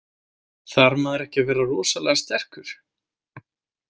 Þarf maður ekki að vera rosalega sterkur?